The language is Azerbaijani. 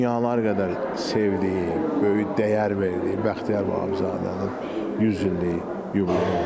Dünyalar qədər sevdiyi, böyük dəyər verdiyi Bəxtiyar Vahabzadənin 100 illik yubileyidir.